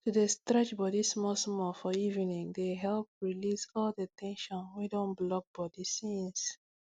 to dey stretch body smallsmall for evening dey help release all the ten sion wey don block body since